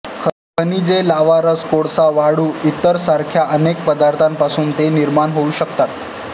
खनिजे लाव्हारस कोळसा वाळू इ सारख्या अनेक पदार्थांपासून ते निर्माण होऊ शकतात